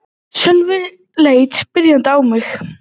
Sölvi leit spyrjandi á mig.